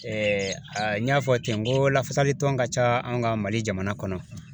a n y'a fɔ ten n ko lafasali tɔn ka ca an ka Mali jamana kɔnɔ.